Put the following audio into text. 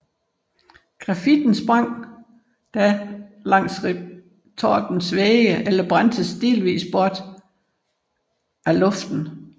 Grafitten sprang da fra langs retortens vægge eller brændtes delvis bort af luften